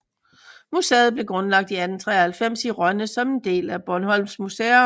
Museet blev grundlagt i 1893 i Rønne som en del af Bornholms Museum